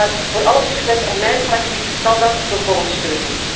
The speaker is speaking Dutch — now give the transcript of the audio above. Ik wens u daarvoor alle succes en mijn fractie zal dat ten volle steunen.